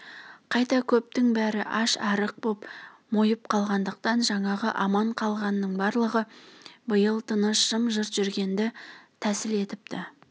қайта көптің бәрі аш-арық боп мойып қалғандықтан жаңағы аман қалғанның барлығы биыл тыныш жым-жырт жүргенді тәсіл етіпті